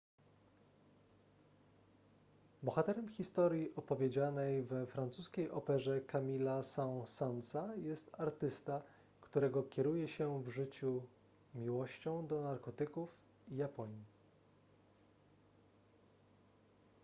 bohaterem historii opowiedzianej we francuskiej operze camille'a saint-saensa jest artysta którego kieruje się w życiu miłością do narkotyków i japonii